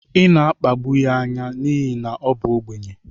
ị na-akpagbu ya anya n'ihi na ọ bụ ogbenye